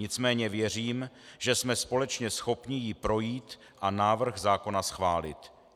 Nicméně věřím, že jsme společně schopni jí projít a návrh zákona schválit.